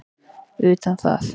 utan það.